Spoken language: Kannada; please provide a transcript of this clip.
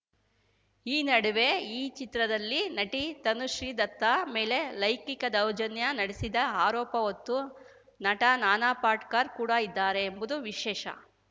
ಈ ನಡುವೆ ಈ ಚಿತ್ರದಲ್ಲಿ ನಟಿ ತನುಶ್ರೀ ದತ್ತಾ ಮೇಲೆ ಲೈಂಗಿಕ ದೌರ್ಜನ್ಯ ನಡೆಸಿದ ಆರೋಪ ಹೊತ್ತು ನಟ ನಾನಾ ಪಾಟೇಕರ್‌ ಕೂಡ ಇದ್ದಾರೆ ಎಂಬುದು ವಿಶೇಷ